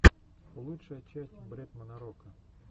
лучшая часть бретмана рока